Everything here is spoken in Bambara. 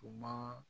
U ma